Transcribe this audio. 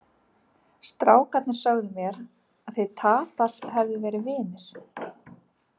Strákarnir sögðu mér að þið Tadas hefðu verið vinir.